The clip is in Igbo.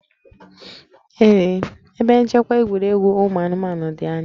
Ee, ebe nchekwa egwuregwu ụmụ anụmanụ dị anya